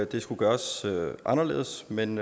det skulle gøres anderledes men